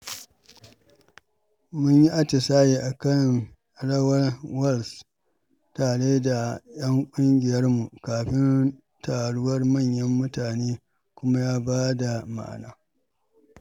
Mun yi atisaye a kan rawar waltz tare da ƴan ƙungiyarmu kafin taruwar manyan mutane, kuma ya ba da ma'ana.